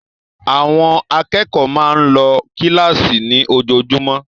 Àwọn akẹ́kọ̀ọ́ máa ń lọ kíláàsì ní ojoojúmọ́